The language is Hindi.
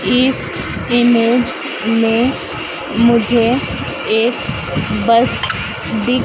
इस इमेज में मुझे एक बस दिख--